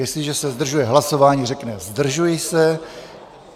Jestliže se zdržuje hlasování, řekne "zdržuji se".